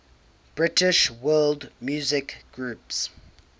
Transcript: british world music groups